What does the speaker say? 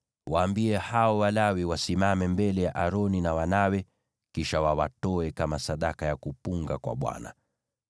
Waambie hao Walawi wasimame mbele ya Aroni na wanawe, kisha wawatoe kama sadaka ya kuinuliwa kwa Bwana .